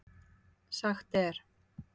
Sagt er